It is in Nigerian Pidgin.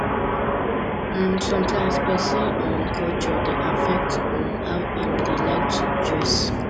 um sometimes person um culture dey affect um how im dey like to dress